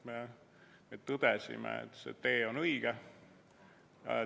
Me tõdesime, et see tee on õige.